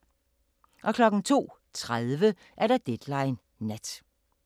02:30: Deadline Nat